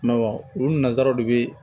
olu nanzaraw de bɛ